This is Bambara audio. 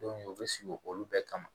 u bɛ sigi olu bɛɛ kama